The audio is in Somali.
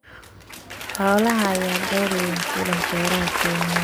Xoolaha ayaa door weyn ku leh beeraha Kenya.